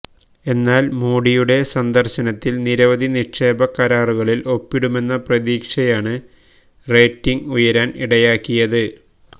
എന്നാല് മോഡിയുടെ സന്ദര്ശനത്തില് നിരവധി നിക്ഷേപ കരാറുകളില് ഒപ്പിടുമെന്ന പ്രതീക്ഷയാണ് റേറ്റിംഗ് ഉയരാന് ഇടയാക്കിയത്